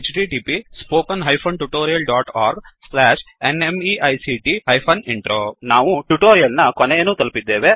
httpspoken tutorialorgNMEICT Intro ನಾವು tutorial ನ ಕೊನೆಯನ್ನು ತಲುಪಿದ್ದೇವೆ